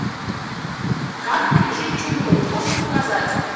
как пережить чуму можешь показать